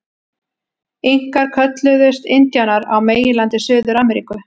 Inkar kölluðust indíánar á meginlandi Suður-Ameríku.